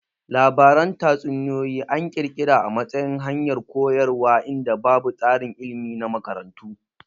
Labaran tatsuniyoyi an kirkira a matsayin hanyar koyarwa inda babu tsarin ilmi na makarantu